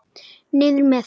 Niður með.